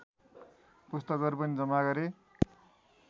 पुस्तकहरू पनि जम्मा गरे